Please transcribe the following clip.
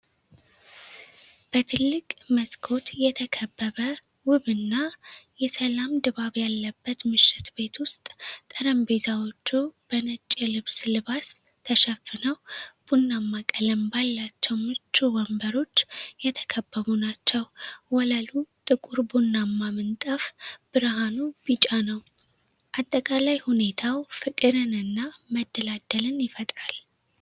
በትልቅ መስኮት የተከበበ ውብና የሰላም ድባብ ያለበት ምሽት ቤት ዉስጥ ጠረምጴዛዎቹ በነጭ የልብስ ልባስ ተሸፍነው፣ ቡናማ ቀለም ባላቸው ምቹ ወንበሮች የተከበቡ ናቸው። ወለሉ ጥቁር ቡናማ ምንጣፍ፣ ብርሃኑ ቢጫ ነው። አጠቃላይ ሁኔታው ፍቅርንና መደላደልን ይፈጥራል።